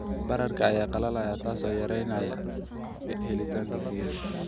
Baararka ayaa qalalaaya, taasoo yareynaysa helitaanka biyaha.